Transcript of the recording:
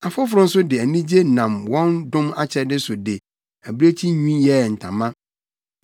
Afoforo nso de anigye nam wɔn dom akyɛde so de abirekyi nwi yɛɛ ntama.